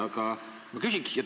Aga ma küsin sellist asja.